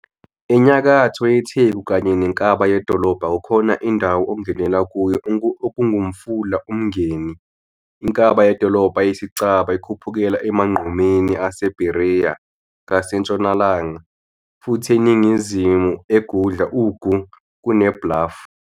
Enyakatho yetheku kanye nenkaba yedolobha kukhona indawo ongenela kuyo okungumfula uMngeni, inkaba yedolobha eyisicaba ikhuphukela emagqumeni aseBereya ngasentshonalanga, futhi eningizimu, egudla ugu, kuneBluff.